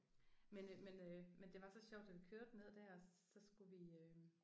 Men øh men øh men det var så sjovt da vi kørte ned der så skulle vi øh